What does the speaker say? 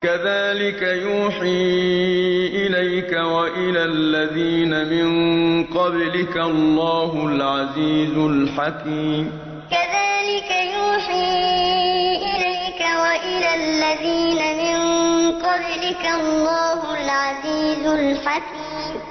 كَذَٰلِكَ يُوحِي إِلَيْكَ وَإِلَى الَّذِينَ مِن قَبْلِكَ اللَّهُ الْعَزِيزُ الْحَكِيمُ كَذَٰلِكَ يُوحِي إِلَيْكَ وَإِلَى الَّذِينَ مِن قَبْلِكَ اللَّهُ الْعَزِيزُ الْحَكِيمُ